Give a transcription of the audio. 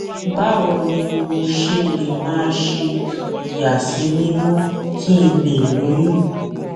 báwo ni mo ṣe lè máa ṣe ìyàsímímó kí n lè lóyún